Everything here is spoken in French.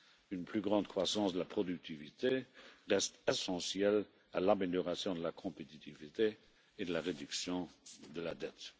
Une plus grande croissance de la productivité reste essentielle à l'amélioration de la compétitivité et de la réduction de la dette.